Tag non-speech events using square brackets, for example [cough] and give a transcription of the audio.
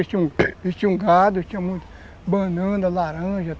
Ele tinha [unintelligible] gado, tinha muita banana, laranja.